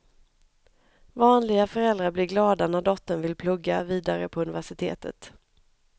Vanliga föräldrar blir glada när dottern vill plugga vidare på universitetet.